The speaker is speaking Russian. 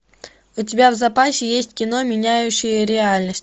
у тебя в запасе есть кино меняющие реальность